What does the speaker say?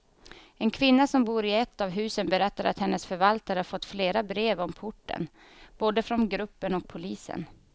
En kvinna som bor i ett av husen berättar att hennes förvaltare fått flera brev om porten, både från gruppen och polisen.